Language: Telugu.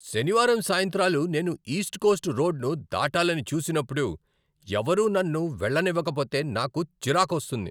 శనివారం సాయంత్రాలు నేను ఈస్ట్ కోస్ట్ రోడ్ను దాటాలని చూసినప్పుడు, ఎవరూ నన్ను వెళ్ళనివ్వకపోతే నాకు చిరాకొస్తుంది.